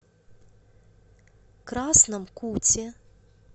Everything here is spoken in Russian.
красном куте